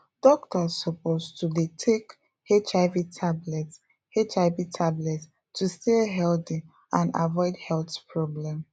doctors suppose to dey take hiv tablets hiv tablets to stay healthy and avoid health problem